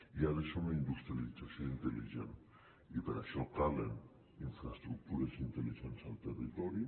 i ha de ser una industrialització intel·ligent i per a això calen infraestructures intel·ligents al territori